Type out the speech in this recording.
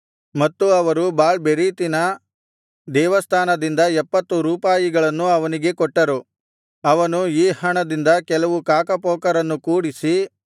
ಮತ್ತು ಅವರು ಬಾಳ್‍ಬೆರೀತಿನ ದೇವಸ್ಥಾನದಿಂದ ಎಪ್ಪತ್ತು ರೂಪಾಯಿಗಳನ್ನು ಅವನಿಗೆ ಕೊಟ್ಟರು ಅವನು ಈ ಹಣದಿಂದ ಕೆಲವು ಕಾಕಪೋಕರನ್ನು ಕೂಡಿಸಿ